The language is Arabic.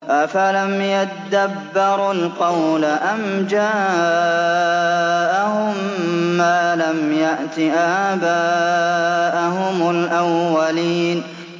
أَفَلَمْ يَدَّبَّرُوا الْقَوْلَ أَمْ جَاءَهُم مَّا لَمْ يَأْتِ آبَاءَهُمُ الْأَوَّلِينَ